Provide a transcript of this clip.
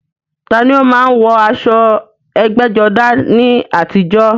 Ta ni ó máa ń wọ aṣọ ẹgbẹ́jọdá ní àtijọ́?